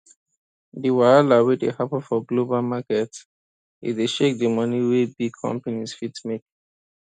di wahala wey dey happen for global market e dey shake di money wey big companies fit make